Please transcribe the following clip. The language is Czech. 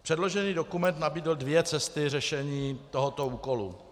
Předložený dokument nabídl dvě cesty řešení tohoto úkolu.